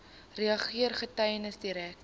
regter getuies direk